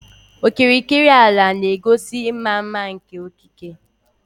Okirikiri ala na-egosi ịma mma nke okike.